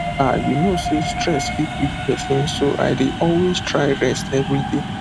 um you know sey stress fit weak person so i dey always try rest every day